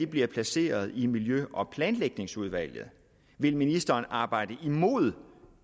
bliver placeret i miljø og planlægningsudvalget vil ministeren arbejde imod